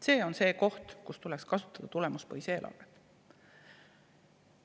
See on see koht, kus tuleks kasutada tulemuspõhist eelarvet.